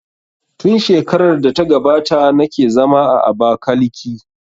Tun shekarar da ta gabata na ke zama a Abakiliki